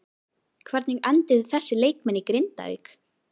Hvernig enduðu þessir leikmenn í Grindavík?